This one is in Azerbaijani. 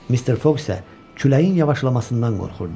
Mister Foq isə küləyin yavaşlamasından qorxurdu.